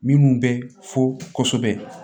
Minnu bɛ fo kosɛbɛ